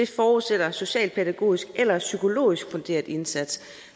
forudsætter en socialpædagogisk eller psykologisk funderet indsats